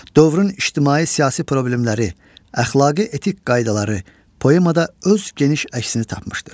Dövrün ictimai-siyasi problemləri, əxlaqi-etik qaydaları poemada öz geniş əksini tapmışdır.